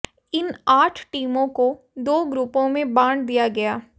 इन आठ टीमों को दो ग्रुपों में बांट दिया गया